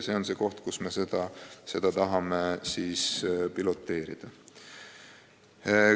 Viljandi on koht, kus me tahame seda mudelit piloteerida.